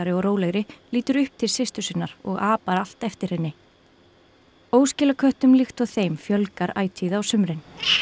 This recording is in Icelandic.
og rólegri lítur upp til systur sinnar og apar allt eftir henni líkt og þeim fjölgar ætíð á sumrin